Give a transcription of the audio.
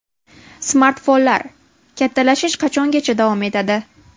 Smartfonlar: kattalashish qachongacha davom etadi?.